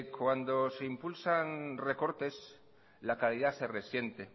cuando se impulsan recortes la calidad se resiente